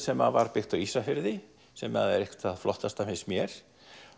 sem var byggt á Ísafirði sem er eitt það flottasta finnst mér